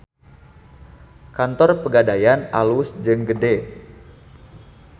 Kantor Pegadaian alus jeung gede